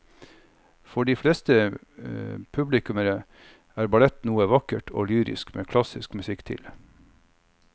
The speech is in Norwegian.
For de fleste publikummere er ballett noe vakkert og lyrisk med klassisk musikk til.